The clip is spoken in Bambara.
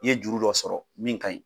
I ye juru dɔ sɔrɔ min ka ɲi.